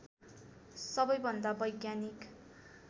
सबैभन्दा वैज्ञानिक